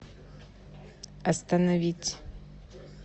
остановить